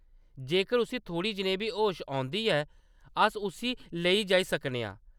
जेकर उस्सी‌ थोह्‌ड़ी जनेही बी होश औंदी ऐ, अस उस्सी लेई जाई सकने आं।